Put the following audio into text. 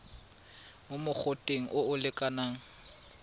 mo mogoteng o o lekanang